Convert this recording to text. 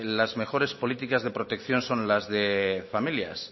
las mejores políticas de protección son las de familias